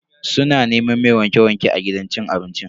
Suna neman mai wanke-wanke a gidan cin abincin.